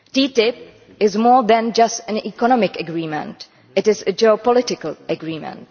TTIP is more than just an economic agreement it is a geopolitical agreement.